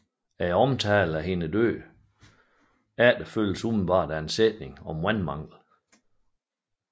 Omtalen af hendes død efterfølges umiddelbart af en sætning om vandmanglen